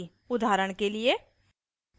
उदाहरण के लिए